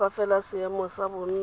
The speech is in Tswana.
fa fela seemo sa bonno